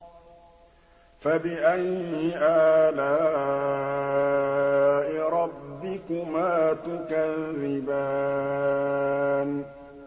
فَبِأَيِّ آلَاءِ رَبِّكُمَا تُكَذِّبَانِ